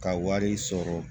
Ka wari sɔrɔ